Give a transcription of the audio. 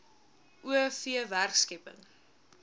o v werkskepping